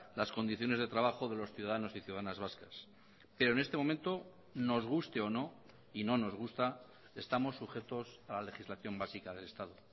las condiciones de trabajo de los ciudadanos y ciudadanas vascas pero en este momento nos guste o no y no nos gusta estamos sujetos a la legislación básica del estado